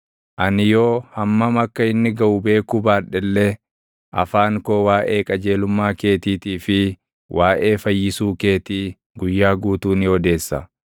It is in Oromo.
Ani yoo hammam akka inni gaʼu beekuu baadhe illee, afaan koo waaʼee qajeelummaa keetiitii fi waaʼee fayyisuu keetii guyyaa guutuu ni odeessa.